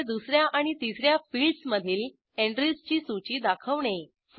केवळ दुस या आणि तिस या फिल्डसमधील एंट्रीजची सूची दाखवणे